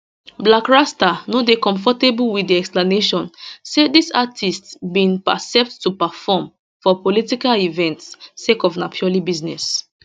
blakk rasta no dey comfortable wit di explanation say dis artistes bin accept to perform for political events sake of na purely business